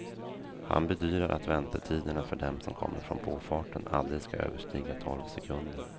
Han bedyrar att väntetiderna för dem som kommer från påfarten aldrig ska överstiga tolv sekunder.